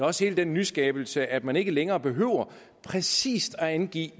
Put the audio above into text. også hele den nyskabelse at man ikke længere behøver præcis at angive